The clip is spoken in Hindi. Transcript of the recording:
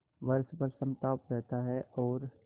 वर्ष भर समताप रहता है और